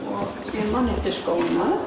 ég man eftir skónum þú